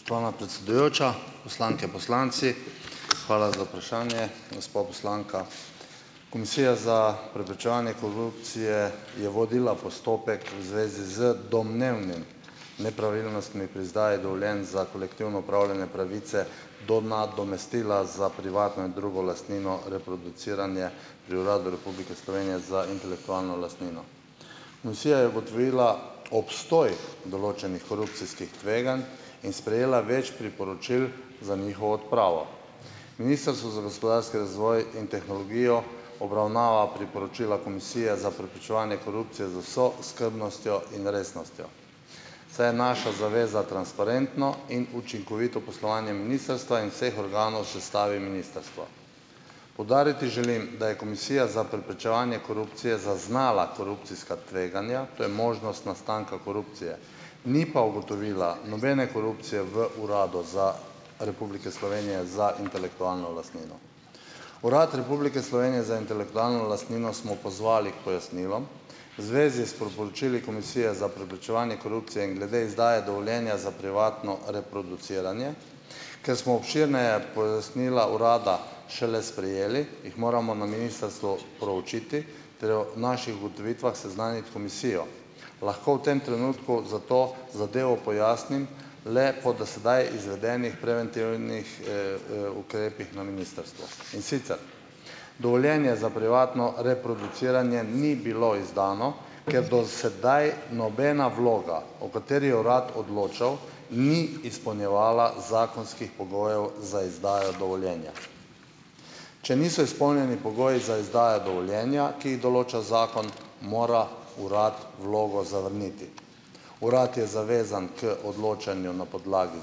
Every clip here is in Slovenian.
Spoštovana predsedujoča, poslanke, poslanci! Hvala za vprašanje, gospa poslanka. Komisija za preprečevanje korupcije je vodila postopek v zvezi z domnevnimi nepravilnostmi pri izdaji dovoljenj za kolektivno upravljanje pravice do nadomestila za privatno in drugo lastnino reproduciranje pri Uradu Republike Slovenije za intelektualno lastnino. Komisija je ugotovila obstoj določenih korupcijskih tveganj in sprejela več priporočil za njihovo odpravo. Ministrstvo za gospodarski razvoj in tehnologijo obravnava priporočila Komisije za preprečevanje korupcije z vso skrbnostjo in resnostjo, saj je naša zaveza transparentno in učinkovito poslovanje ministrstva in vseh organov v sestavi ministrstva. Poudariti želim, da je Komisija za preprečevanje korupcije zaznala korupcijska tveganja. To je možnost nastanka korupcije, ni pa ugotovila nobene korupcije v Uradu za Republike Slovenije za intelektualno lastnino. Urad Republike Slovenije za intelektualno lastnino smo pozvali k pojasnilom. V zvezi s priporočili komisije za preprečevanje korupcije in glede izdaje dovoljenja za privatno reproduciranje. Ker smo obširneje pojasnila urada šele sprejeli, jih moramo na ministrstvu proučiti ter o naših ugotovitvah seznaniti komisijo. Lahko v tem trenutku zato zadevo pojasnim le po do sedaj izvedenih preventivnih, ukrepih na ministrstvu, in sicer: dovoljenje za privatno reproduciranje ni bilo izdano, ker do sedaj nobena vloga, o kateri je urad odločal, ni izpolnjevala zakonskih pogojev za izdajo dovoljenja. Če niso izpolnjeni pogoji za izdajo dovoljenja, ki jih določa zakon, mora uradno vlogo zavrniti. Uradno je zavezan k odločanju na podlagi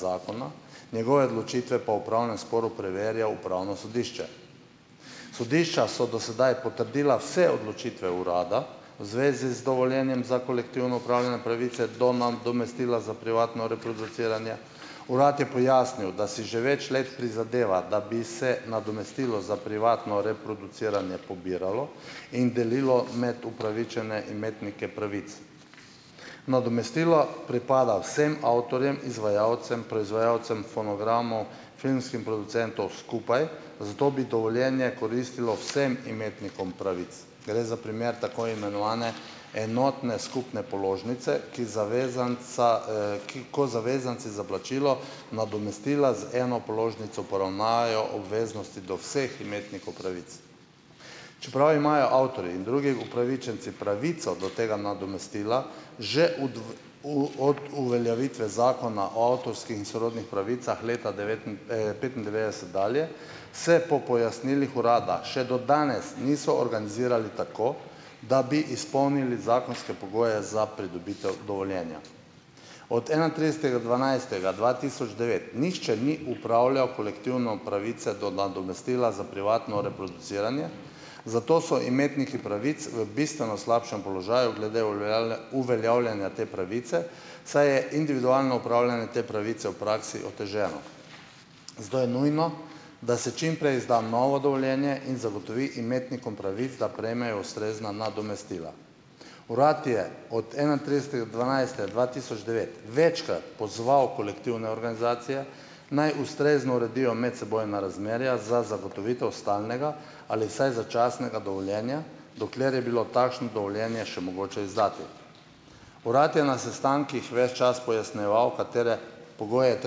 zakona, njegove odločitve pa v upravnem sporu preverja Upravno sodišče. Sodišča so do sedaj potrdila vse odločitve urada v zvezi z dovoljenjem za kolektivno upravljanje pravice do nadomestila za privatno reproduciranje. Uradno je pojasnil, da si že več let prizadeva, da bi se nadomestilo za privatno reproduciranje pobiralo in delilo med upravičene imetnike pravic. Nadomestilo pripada vsem avtorjem, izvajalcem, proizvajalcem fonogramov, filmskim producentov skupaj, zato bi dovoljenje koristilo vsem imetnikom pravic. Gre za primer tako imenovane enotne skupne položnice, ki zavezanca, ki ko zavezanci za plačilo nadomestila z eno položnico poravnajo obveznosti do vseh imetnikov pravic. Čeprav imajo avtorji in drugi upravičenci pravico do tega nadomestila, že od uveljavitve zakona o avtorski in sorodnih pravicah leta petindevetdeset dalje, se po pojasnilih urada še do danes niso organizirali tako, da bi izpolnili zakonske pogoje za pridobitev dovoljenja. Od enaintridesetega dvanajstega dva tisoč devet nihče ni upravljal kolektivno pravice do nadomestila za privatno reproduciranje, zato so imetniki pravic v bistveno slabšem položaju glede uveljavljanja te pravice, saj je individualno upravljanje te pravice v praksi oteženo. Zato je nujno, da se čim prej izda novo dovoljenje in zagotovi imetnikom pravic, da prejmejo ustrezna nadomestila. Uradno je od enaintridesetega dvanajstega dva tisoč devet večkrat pozval kolektivne organizacije, naj ustrezno uredijo medsebojna razmerja za zagotovitev stalnega, ali vsaj začasnega dovoljenja, dokler je bilo takšno dovoljenje še mogoče izdati. Uradno je na sestankih ves čas pojasnjeval, katere pogoje je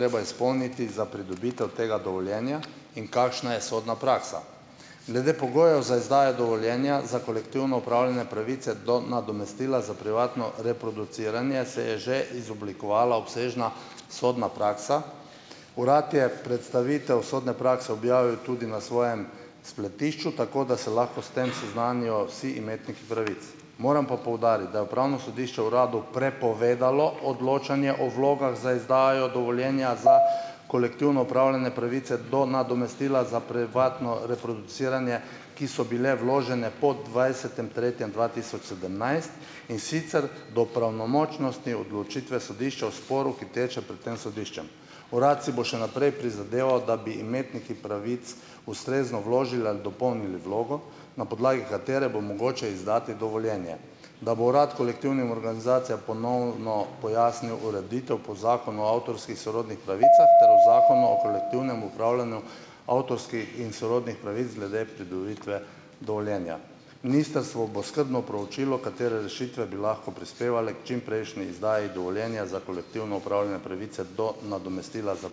treba izpolniti za pridobitev tega dovoljenja in kakšna je sodna praksa. Glede pogojev za izdajo dovoljenja za kolektivno upravljanje pravice do nadomestila za privatno reproduciranje se je že izoblikovala obsežna sodna praksa. Uradno je predstavitev sodno prakse objavil tudi na svojem spletišču, tako da se lahko s tem seznanijo vsi imetniki pravic. Moram pa poudariti, da je upravno sodišče uradu prepovedalo odločanje o vlogah za izdajo dovoljenja za kolektivno opravljanje pravice do nadomestila za privatno reproduciranje, ki so bile vložene po dvajsetem tretjem dva tisoč sedemnajst, in sicer do pravnomočnosti odločitve sodišča v sporu, ki teče pred tem sodiščem. Uradno si bo še naprej prizadeval, da bi imetniki pravic ustrezno vložili ali dopolnili vlogo, na podlagi katere bo mogoče izdati dovoljenje, da bo uradno kolektivnim organizacijam ponovno pojasnil ureditev po Zakonu o avtorskih sorodnih pravicah ter o Zakonu o kolektivnem upravljanju avtorskih in sorodnih pravic glede pridobitve dovoljenja. Ministrstvo bo skrbno proučilo. katere rešitve bi lahko prispevale k čimprejšnji izdaji dovoljenja za kolektivno upravljanje pravice do nadomestila za ...